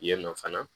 Yen nɔ fana